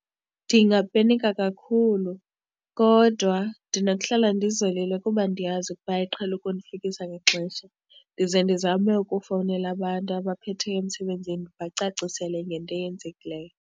Ndingapenika kakhulu kodwa ndinokuhlala ndizolile kuba ndiyazi ukuba iqhele ukundifikisa ngexesha, ndize ndizame ukufowunela abantu abaphetheyo emsebenzini ndibacacisele ngento eyenzekileyo.